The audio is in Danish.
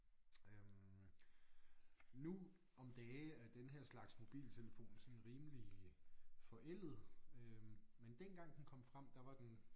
Øh nu om dage er den her slags mobiltelefon sådan rimelig forældet øh men dengang den kom frem der var den